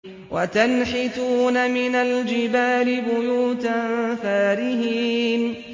وَتَنْحِتُونَ مِنَ الْجِبَالِ بُيُوتًا فَارِهِينَ